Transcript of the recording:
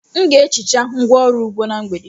M ga-ehicha ngwá ọrụ ugbo na mgbede.